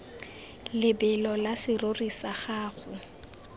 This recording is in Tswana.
lebelo la serori sa gago